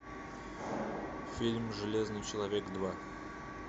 фильм железный человек два